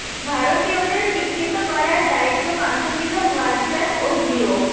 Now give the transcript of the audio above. ভারতীয়দের শিক্ষিত করার দায়িত্ব কাঁধে নিল হোয়াটসঅ্যাপ ও জিও